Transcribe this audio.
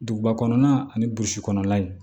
Duguba kɔnɔna ani burusi kɔnɔna in